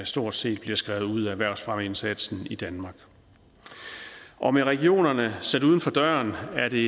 stort set bliver skrevet ud af erhvervsfremmeindsatsen i danmark og med regionerne sat uden for døren er det